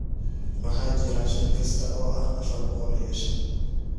waxaa jira shil kasta oo ah afar boqol iyo shan